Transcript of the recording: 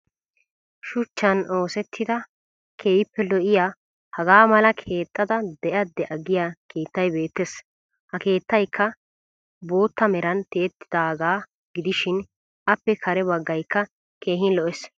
Shuchchan ossettida keehippe lo'iya hagaa malaa keexxada de'a da'a giya keettay beettes. Ha keettayikka bootta meran tiyettidaagaa gidishin appe kare baggayikka keehin lo'ees.